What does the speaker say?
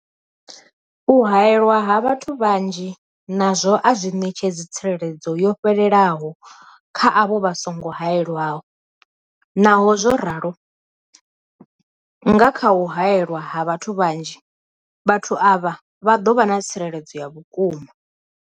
U haelwa ha vhathu vhanzhi nazwo a zwi ṋetshedzi tsireledzo yo fhelelaho kha avho vha songo haelwaho, Naho zwo ralo, nga kha u haelwa ha vhathu vhanzhi, vhathu avha vha ḓo vha na tsireledzo ya vhukuma.